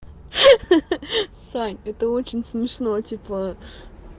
ха-ха-ха сань это очень смешно типа